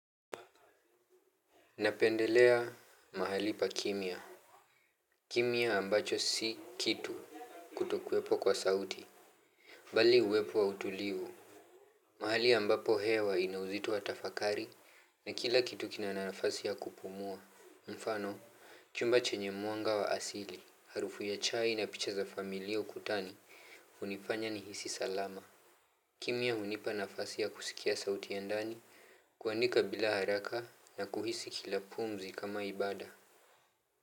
Napendelea mahali pa kimya. Kimya ambacho si kitu kutokuwepo kwa sauti. Bali uwepo wa utulivu. Mahali ambapo hewa ina uzito wa tafakari na kila kitu kina nafasi ya kupumua. Mfano, chumba chenye mwanga wa asili. Harufu ya chai na picha za familia ukutani hunifanya nihisi salama. Kimya hunipa nafasi ya kusikia sauti ya ndani, kuandika bila haraka na kuhisi kila pumzi kama ibaada.